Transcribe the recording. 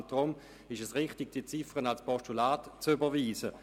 Deshalb ist es richtig, diese Ziffer als Postulat zu überweisen.